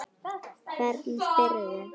Hvernig spyrðu??